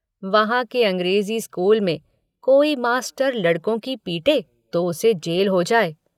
वहाँ के अंग्रेज़ी स्कूल में कोई मास्टर लड़कों की पीटे तो उसे जेल हो जाए।